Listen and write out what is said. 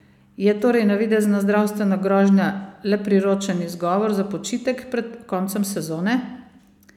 Je torej navidezna zdravstvena grožnja le priročen izgovor za počitek pred koncem sezone?